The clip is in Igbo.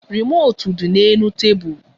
Remootu di n'elu tebụl